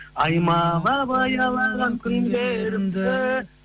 аймалап аялаған күндерімді